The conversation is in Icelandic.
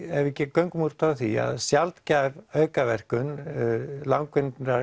göngum út frá því að sjaldgæf aukaverkun langvinnrar